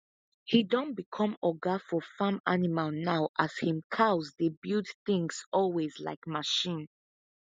he don become oga for farm animal now as him cows dey build things always like machine